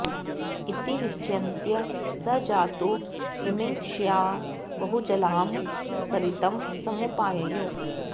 इति विचिन्त्य स जातु मिमङ्क्षया बहुजलां सरितं समुपाययौ